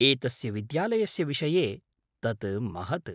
एतस्य विद्यालयस्य विषये तत् महत्।